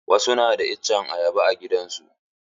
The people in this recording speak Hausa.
Wasu na da itacen ayaba a gidajen su.